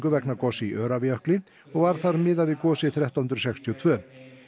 vegna goss í Öræfajökli og var þar miðað við gosið þrettán hundruð sextíu og tvö